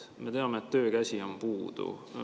Me teame, et töökäsi on puudu.